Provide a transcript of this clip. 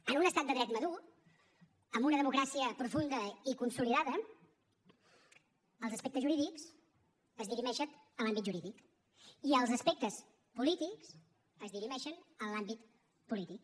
en un estat de dret madur amb una democràcia profunda i consolidada els aspectes jurídics es dirimeixen en l’àmbit jurídic i els aspectes polítics es dirimeixen en l’àmbit polític